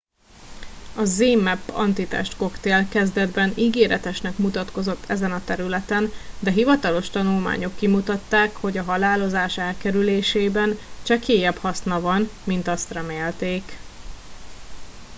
a zmapp antitestkoktél kezdetben ígéretesnek mutatkozott ezen a területen de hivatalos tanulmányok kimutatták hogy a halálozás elkerülésében csekélyebb haszna van mint azt remélték